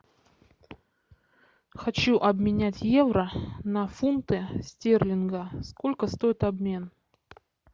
хочу обменять евро на фунты стерлинга сколько стоит обмен